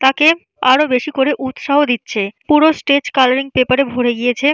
তাকে আরো বেশি করে উৎসাহ দিচ্ছে পুরো স্টেজ কালারিং পেপার এ ভরে গিয়েছে।